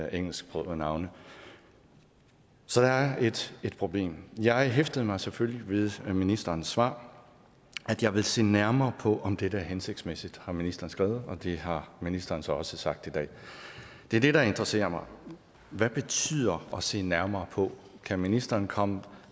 engelsksprogede navne så der er et problem jeg hæftede mig selvfølgelig ved ministerens svar jeg vil se nærmere på om dette er hensigtsmæssigt har ministeren skrevet og det har ministeren så også sagt i dag det er det der interesserer mig hvad betyder at se nærmere på kan ministeren komme